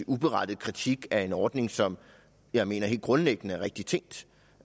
uberettiget kritik af en ordning som jeg mener helt grundlæggende er rigtigt tænkt